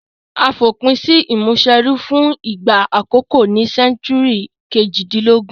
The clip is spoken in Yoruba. A fòpin si ìmúniserú fun ìgbà àkókó ní century kejìdínlógún